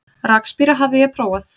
Rakspíra hafði ég prófað.